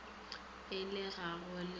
a le ga go le